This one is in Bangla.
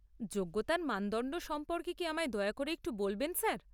যোগ্যতার মানদণ্ড সম্পর্কে কি আমায় দয়া করে একটু বলবেন স্যার?